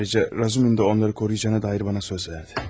Həmçinin Razumixin də onları qoruyacağına dair mənə söz verdi.